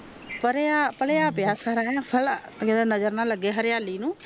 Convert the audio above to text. ਪਾਲਿਆ ਪਾਲਿਆ ਪਿਆ ਸਾਰਾ ਹੈ ਨਾਜਰ ਨਾ ਲਗੇ ਹਰਿਆਲੀ ਨੂੰ